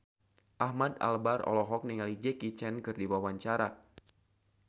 Ahmad Albar olohok ningali Jackie Chan keur diwawancara